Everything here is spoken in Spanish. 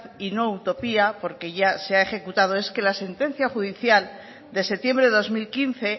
y no utopía porque ya se ha ejecutado es que la sentencia judicial de septiembre de dos mil quince